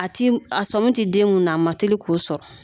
A tɛ a sɔmi tɛ den mun na a man teli k'o sɔrɔ